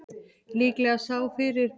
Líklega fyrir að slá leikmann Hauka